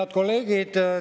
Head kolleegid!